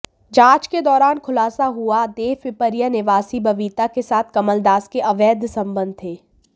जांच के दौरान खुलासा हुआ देवपिपरिया निवासी बबीता के साथ कमलदास के अवैध संबंध थे